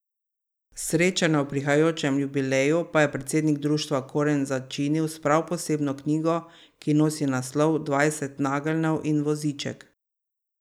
Srečanje ob prihajajočem jubileju pa je predsednik društva Okoren začinil s prav posebno knjigo, ki nosi naslov Dvajset nageljnov in voziček.